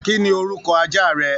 Kí ni orúkọ aja rẹ?